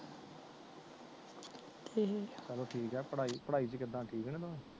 ਚਲੋ ਠੀਕ ਆ ਪੜਾਈ ਪੜਾਈ ਚ ਕਿਦਾਂ ਠੀਕ ਨੇ ਦੋਵੇ